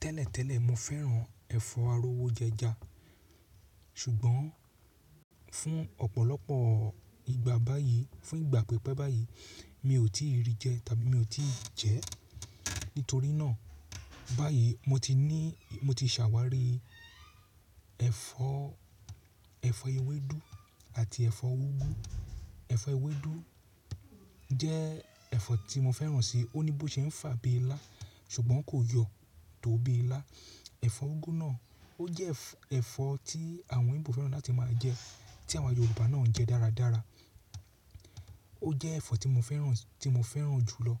Tẹ́lẹ̀tẹ́lẹ̀ mo fẹ́ràn ẹ̀fọ́ arówó jẹja, ṣùgbọ́n fún ọ̀pọ̀lọpọ̀ ìgbà báyìí, fún ìgbà pípẹ́ báyìí mi ò tíì rí jẹ tàbí mi ò tíì jẹ. Nítorí náà báyìí mo ti ní, mo ti ṣàwárí ẹ̀fọ́, ẹ̀fọ́ ewédú àti ẹ̀fọ́ úgú. Ẹ̀fọ́ ewédú jẹ́ ẹ̀fọ́ tí mo fẹ́ràn si, ó ní bó ṣe ń fà bí ilá, ṣùgbọ́n kò yọ tó bí ilá. Ẹ̀fọ́ úgú náà ó jẹ́ ẹ̀fọ́ tí àwọn Igbo fẹ́ràn láti máa jẹ, tí àwọn Yorùbá náà ń jẹ dáradára. Ó jẹ́ ẹ̀fọ́ tí mo fẹ́ràn, tí mo fẹ́ràn jù lọ.